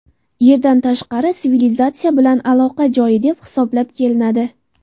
Yerdan tashqari sivilizatsiya bilan aloqa joyi deb hisoblab kelinadi.